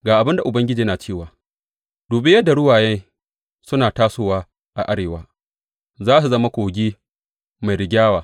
Ga abin da Ubangiji yana cewa, Dubi yadda ruwaye suna tasowa a arewa; za su zama kogi mai rigyawa.